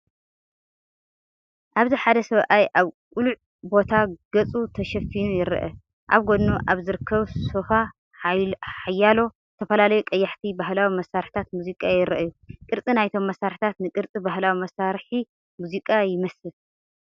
ኣብዚ ሓደ ሰብኣይ ኣብ ቅሉዕ ቦታ ገፁ ተሸፊኑ ይርአ። ኣብ ጎድኑ ኣብ ዝርከብ ሶፋ፡ ሓያሎ ዝተፈላለዩ ቀያሕቲ ባህላዊ መሳርሒታት ሙዚቃ ይረኣዩ። ቅርጺ ናይቶም መሳርሒታት ንቅርጺ ባህላዊ መሳርሒ ሙዚቃ ይመስል።